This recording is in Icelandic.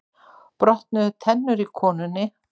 Brotnuðu tennur í konunni